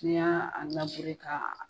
Ni y'a ka.